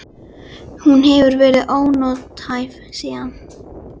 Hún hefur verið ónothæf síðan.